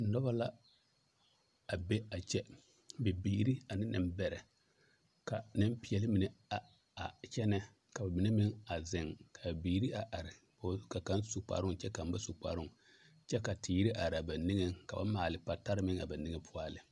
Noba la a be a kyɛ bibiiri ane nembɛrɛ ka nempeɛle mine a a kyɛnɛ ka ba mine meŋ a zeŋ ka a biiri a are ka kaŋ su kparoŋ ka kaŋ ba su kparoŋ kyɛ ka teere are a ba nigeŋ ka ba maale patare a ba nige poɔ a lɛ.